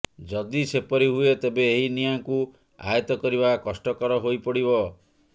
ଯଦି ସେପରି ହୁଏ ତେବେ ଏହି ନିଆଁକୁ ଆୟତ୍ତ କରିବା କଷ୍ଟକର ହୋଇପଡ଼ିବ